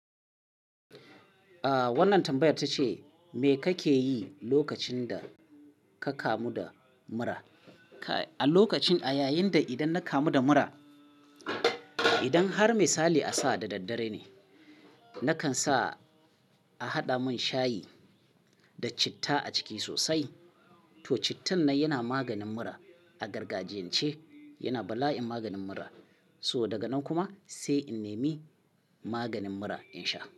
Ah wannan tambayar ta ce, me kake yi lokacin da, ka kamu da mura? A lokacin a yayin da idan na kamu da mura, idan har mai sali a sa da daddare ne, nakan sa a haɗa mun shayi, da citta a ciki sosai. Toh cittan nan yana maganin mura a gargajiyan ce, yana bala'in maganin mura. So daga nan kuma, sai in nemi maganin mura in sha.